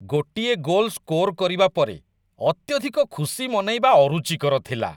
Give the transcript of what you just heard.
ଗୋଟିଏ goal score କରିବା ପରେ ଅତ୍ୟଧିକ ଖୁସି ମନେଇବା ଅରୁଚିକର ଥିଲା।